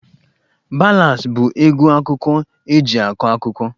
Ballads bụ egwu akụkọ eji akọ akụkọ